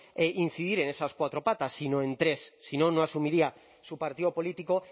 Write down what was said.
incidir en esas cuatro patas sino en tres si no un asumiría su partido político